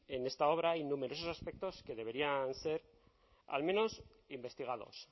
en esta obra hay numerosos aspectos que deberían ser al menos investigados